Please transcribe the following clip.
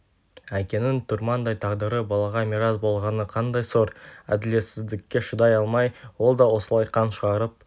әкенің тұрмандай тағдыры балаға мирас болғаны қандай сор әділетсіздікке шыдай алмай ол да осылай қан шығарып